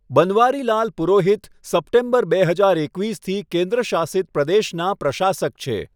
Banwarilal Purohit September બે હજાર એકવીસથી કેન્દ્રશાસિત પ્રદેશનાં પ્રશાસક છે.